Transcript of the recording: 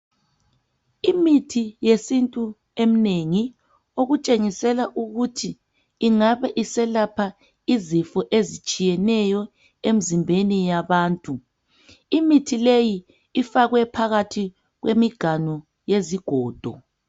Imithi yesintu emnengi okutshengisela ukuthi ingabe iselapha izifo ezitshiyeneyo emzimbeni yabantu. Imithi leyi ifakwe phakathi kwemiganu yezigodo.